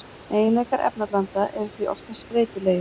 Eiginleikar efnablanda eru því oftast breytilegir.